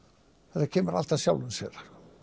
þetta kemur allt að sjálfu sér